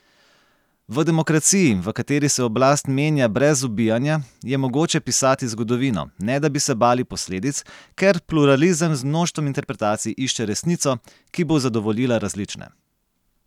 V demokraciji, v kateri se oblast menja brez ubijanja, je mogoče pisati zgodovino, ne da bi se bali posledic, ker pluralizem z mnoštvom interpretacij išče resnico, ki bo zadovoljila različne.